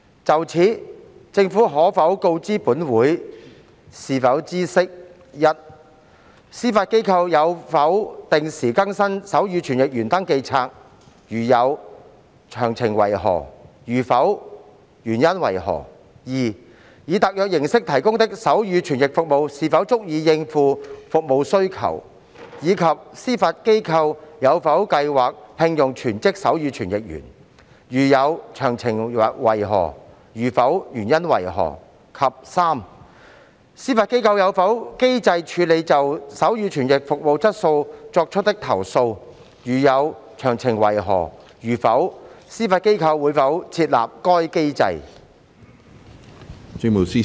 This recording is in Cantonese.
就此，政府可否告知本會，是否知悉：一司法機構有否定時更新手語傳譯員登記冊；如有，詳情為何；如否，原因為何；二以特約形式提供的手語傳譯服務是否足以應付服務需求，以及司法機構有否計劃聘用全職手語傳譯員；如有，詳情為何；如否，原因為何；及三司法機構有否機制處理就手語傳譯服務質素作出的投訴；如有，詳情為何；如否，司法機構會否設立該機制？